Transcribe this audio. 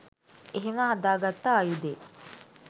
එහෙම හදාගත්ත ආයුදේ